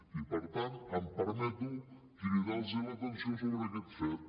i per tant em permeto cridar los l’atenció sobre aquest fet